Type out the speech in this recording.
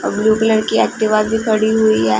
अ blue colour की Activa भी खड़ी हुई है।